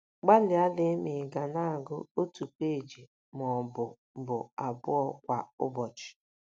Gbalịa lee ma ị̀ ga na - agụ otu peeji ma ọ bụ bụ abụọ kwa ụbọchị.